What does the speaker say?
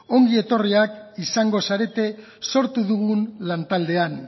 ongietorriak izango zarete sortu dugun lantaldean